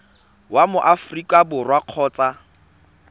wa mo aforika borwa kgotsa